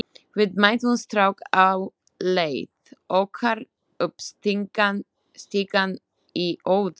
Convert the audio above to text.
Við mættum strák á leið okkar upp stigann í Óðali.